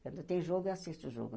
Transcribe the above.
Quando tem jogo, eu assisto jogo.